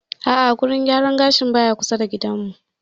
A'a wurin gyaran gashin baya kusa da gidan mu